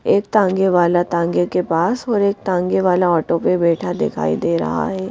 एक तांगे वाला तांगे के पास और एक तांगे वाला ऑटो पे बैठा दिखाई दे रहा है।